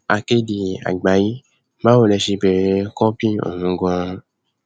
akéde àgbàyẹbàwò lè ṣe bẹrẹ kọńpì ọhún ganan